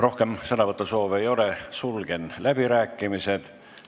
Rohkem sõnavõtusoove ei ole, sulgen läbirääkimised.